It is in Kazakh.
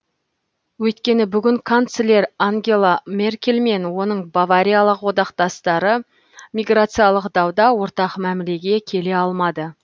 өйткені бүгін канцлер ангела меркель мен оның бавариялық одақтастары миграциялық дауда ортақ мәмілеге келе алмады